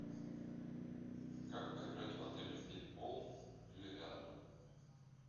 как поиграть в отеле в пейнтбол или рядом